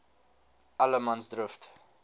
allemansdrift